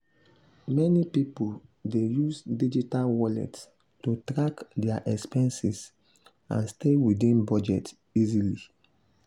meni pipul dey use digital wallets to track dia expenses and stay within budget easily.